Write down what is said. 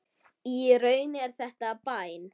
Í raun er þetta bæn.